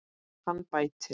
Hann bætir.